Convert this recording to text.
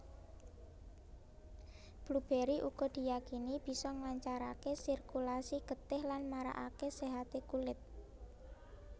Blueberry uga diyakini bisa nglancarake sirkulasi getih lan marakake séhate kulit